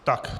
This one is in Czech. Tak.